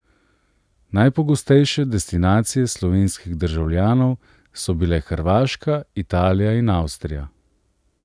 Najpogostejše destinacije slovenskih državljanov so bile Hrvaška, Italija in Avstrija.